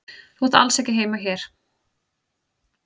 Þú átt alls ekki heima hér.